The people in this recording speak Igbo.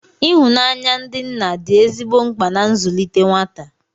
Ihụnanya ndị nna dị ezigbo mkpa na nzụlite nwata